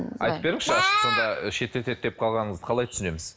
айтып беріңізші шектетеді деп қалғаныңызды қалай түсінеміз